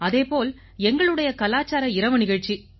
அதே போல எங்களுடைய கலாச்சார இரவு நிகழ்ச்சி